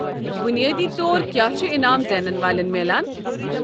بنیٲدی طور کیٛاہ چھُ انعام زینن والٮ۪ن میلان؟